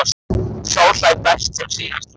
Sá hlær best sem síðast hlær!